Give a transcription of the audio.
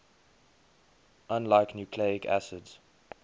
unlike nucleic acids